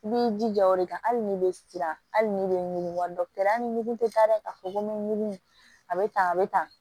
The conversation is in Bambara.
I b'i jija o de kan hali ni be siran hali ni be ɲugun dɔgɔtɔrɔya ni ɲugun tɛ taa dɛ ka fɔ ko mugun a bɛ tan a bɛ tan